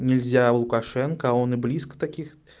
нельзя лукашенко он и близко таких